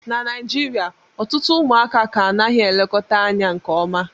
na Naijirịa ọtụtụ ụmụaka ka anaghị elekọta anya nke ọma